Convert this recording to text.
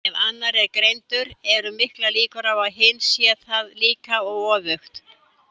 Ef annar er greindur eru miklar líkur á að hinn sé það líka, og öfugt.